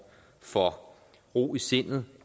for ro i sindet